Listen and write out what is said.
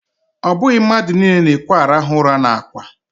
Ọ bụghị mmadụ niile na-ekwe arahụ ụra n'ákwá.